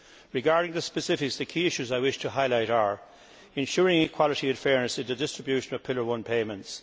Regarding the specifics, the key issues I wish to highlight are ensuring equality and fairness in the distribution of Pillar 1 payments.